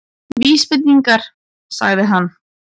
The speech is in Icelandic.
Vísbendingar- sagði hann.